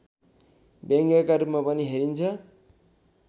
व्यङ्ग्यका रूपमा पनि हेरिन्छ